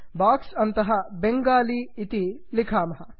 box अन्तः बङ्गाली बेङ्गाली इति लिखामः